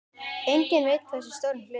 Enginn veit hversu stóran hluta.